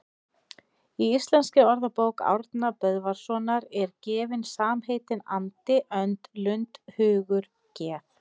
Í Íslenskri orðabók Árna Böðvarssonar eru gefin samheitin andi, önd, lund, hugur, geð